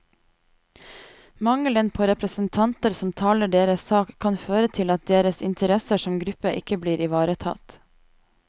Mangelen på representanter som taler deres sak, kan føre til at deres interesser som gruppe ikke blir ivaretatt.